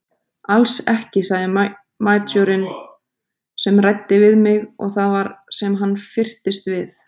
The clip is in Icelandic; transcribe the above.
Alls ekki sagði majórinn sem ræddi við mig og það var sem hann fyrtist við.